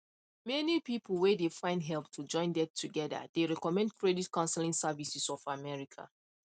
many people whey dey find help to join debt together dey recommend credit counseling services of america